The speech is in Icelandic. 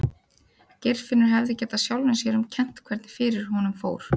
Geirfinnur hefði getað sjálfum sér um kennt hvernig fyrir honum fór.